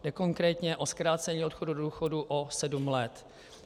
Jde konkrétně o zkrácení odchodu do důchodu o sedm let.